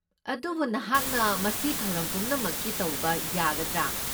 ꯑꯗꯨꯕꯨ ꯅꯍꯥꯛꯅ ꯃꯁꯤ ꯊꯧꯔꯝ ꯄꯨꯝꯅꯃꯛꯀꯤ ꯇꯧꯕ ꯌꯥꯒꯗ꯭ꯔꯥ?